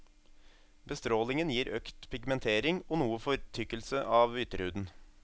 Bestrålingen gir økt pigmentering og noe fortykkelse av ytterhuden.